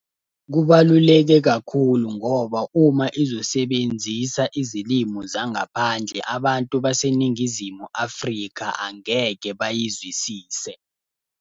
Kubaluleke kakhulu ngoba uma izosebenzisa izilimu zangaphandle abantu baseNingizimu Afrika angeke bayizwisise.